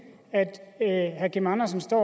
at herre kim andersen står